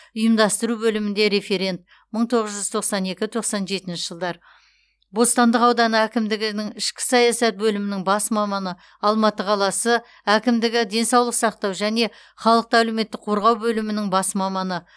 ұйымдастыру бөілмінде референт мың тоғыз жүз тоқсан екі тоқсан жетінші жылдар бостандық ауданы әкімдігінің ішкі саясат бөлімінің бас маманы алматы қаласы алматы қаласы әкімдігі денсаулық сақтау және халықты әлеуметтік қорғау бөлімінің бас маманы